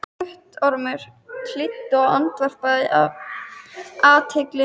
Guttormur hlýddi á ávarpið af athygli.